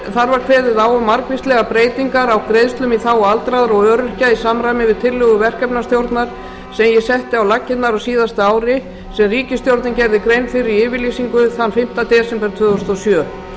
þar var kveðið á um margvíslegar breytingar á greiðslum í þágu aldraðra og öryrkja í samræmi við tillögur verkefnisstjórnar sem ég setti á laggirnar á síðasta ári sem ríkisstjórnin gerði grein fyrir í yfirlýsingu þann fimmta desember tvö þúsund og sjö í hinum